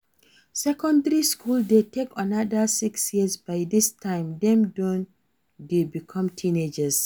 secondary school de take another six years by dis time dem don de become teenagers